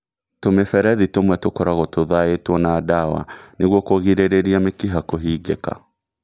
Tũmĩberethi tũmwe tũkoragwo tũthaĩtwo na ndawa nĩguo kũgĩrĩrĩria mĩkiha kũhingĩka